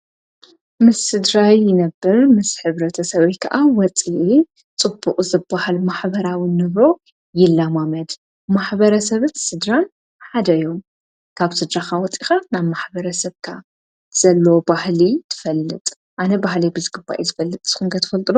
ምስ ስድራይ ነብር ምስ ሕብረተ ሰበይ ከዓ ወፅየ ጽቡቕ ዘብሃል ማኅበራዊን ነብሮ የላማመድ ማኅበረ ሰብት ስድራን ሓደዮም ካብ ጽጃኻ ወጢኻ ናብ ማኅበረ ሰብካ ዘሎ ባህሊ ትፈልጥ ኣነ ባሕለይ ብዝግባ የ ዘፈልጥ ዘኲንገ ት ፈልጥሩ።